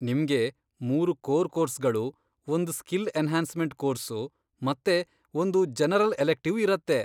ನಿಮ್ಗೆ ಮೂರು ಕೋರ್ ಕೋರ್ಸ್ಗಳು, ಒಂದ್ ಸ್ಕಿಲ್ ಎನ್ಹಾನ್ಸ್ಮೆಂಟ್ ಕೋರ್ಸು, ಮತ್ತೆ ಒಂದು ಜನರಲ್ ಎಲೆಕ್ಟಿವ್ ಇರತ್ತೆ.